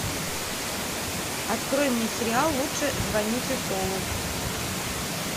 открой мне сериал лучше звоните солу